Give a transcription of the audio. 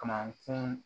Kamankun